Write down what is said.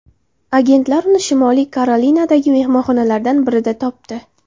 Agentlar uni Shimoliy Karolinadagi mehmonxonalardan birida topdi.